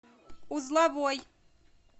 узловой